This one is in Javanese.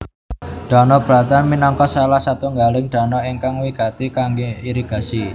Danau Bratan minangka salah satunggaling danau ingkang wigati kangge irigasi